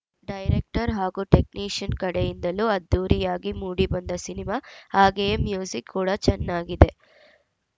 director ಹಾಗೂ technician ಕಡೆಯಿಂದಲೂ ಅದ್ಧೂರಿಯಾಗಿ ಮೂಡಿ ಬಂದ ಸಿನಿಮಾ ಹಾಗೆಯೇ ಮ್ಯೂಜಿಕ್‌ ಕೂಡ ಚೆನ್ನಾಗಿದೆ